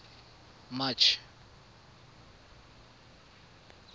march